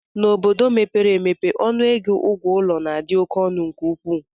N'obodo mepere emepe, ọnụego ụgwọ ụlọ na-adị ọnụ nke ukwuu